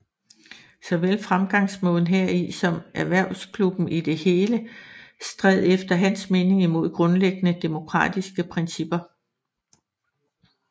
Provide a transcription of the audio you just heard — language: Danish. Såvel fremgangsmåden heri som erhvervsklubben i det hele stred efter hans mening imod grundlæggende demokratiske principper